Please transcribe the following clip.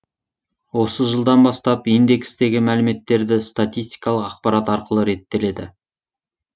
осы жылдан бастап индекстегі мәліметтерді статистикалық ақпарат арқылы реттеледі